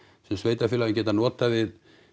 sem sveitarfélögin geta notað við